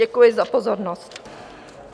Děkuji za pozornost.